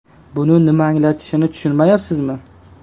Bu nimani anglatishini tushunyapsizmi?